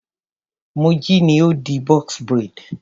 Moji ni ó di box braid.